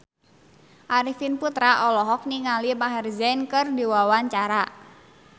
Arifin Putra olohok ningali Maher Zein keur diwawancara